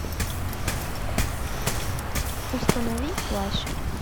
установи плащ